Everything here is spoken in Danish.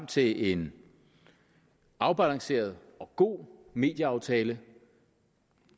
til en afbalanceret og god medieaftale